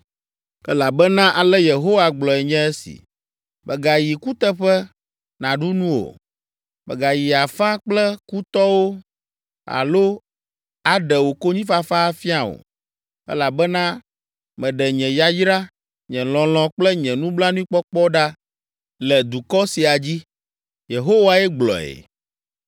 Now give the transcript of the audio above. Elabena ale Yehowa gblɔe nye esi: “Mègayi kuteƒe nàɖu nu o, mègayi afa kple kutɔwo alo aɖe wò konyifafa afia o, elabena meɖe nye yayra, nye lɔlɔ̃ kple nye nublanuikpɔkpɔ ɖa le dukɔ sia dzi.” Yehowae gblɔe.